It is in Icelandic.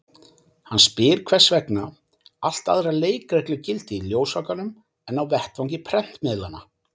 Hann spyr hvers vegna allt aðrar leikreglur gildi í ljósvakanum en á vettvangi prentmiðlanna.